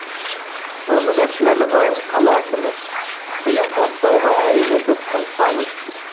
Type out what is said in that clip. нұрлыбек нәлібаев қала әкімі биыл бастауға әрине біз тырысамыз